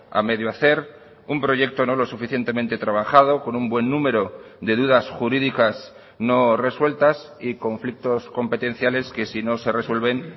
a medio hacer un proyecto no lo suficientemente trabajado con un buen número de dudas jurídicas no resueltas y conflictos competenciales que si no se resuelven